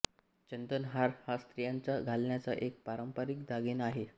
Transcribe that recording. चंदन हार हा स्त्रियांचा घालण्याचा एक पारंपारिक दागिना आहे